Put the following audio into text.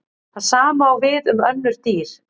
Það sama á við um önnur dýr.